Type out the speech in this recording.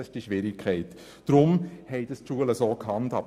Deshalb haben die Schulen so entschieden.